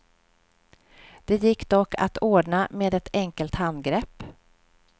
Det gick dock att ordna med ett enkelt handgrepp.